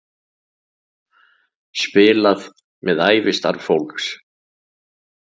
Spilað með ævistarf fólks